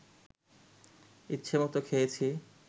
ইচ্ছেমত খেয়েছি